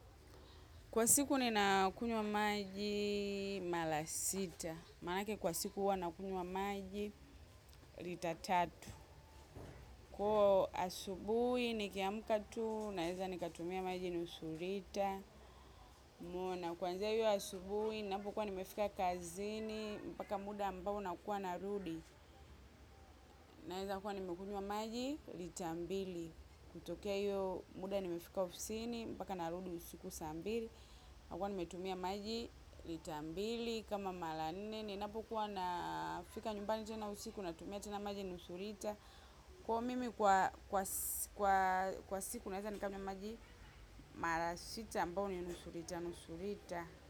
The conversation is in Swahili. Kwa siku ninakunywa maji mara sita, manake kwa siku huwa nakunywa maji lita tatu. Kuwa asubuhi nikiamka tu, naeza nikatumia maji nusu lita, maana. Kwanzia hiyo asubuhi, napo kuwa nimefika kazini, mpaka muda ambao nakuwa narudi. Naeza kuwa nimekunywa maji lita mbili. Kutokea hiyo muda nimefika ofisini, mpaka narudi usiku saa mbili. Nakuwa nimetumia maji lita mbili kama mara nne ninapokuwa nafika nyumbani. Tena usiku natumia tena maji nusu lita. Kwa mimi kwa kwa siku naeza nikanywa maji. Mara sita ambao ni nusu lita nusu lita.